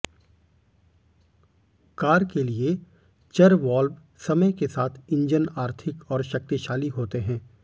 car के लिए चर वाल्व समय के साथ इंजन आर्थिक और शक्तिशाली होते हैं